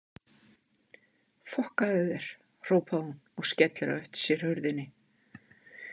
Fokkaðu þér, hrópar hún og skellir á eftir sér hurðinni.